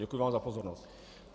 Děkuji vám za pozornost.